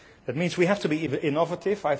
That means we have to be innovative.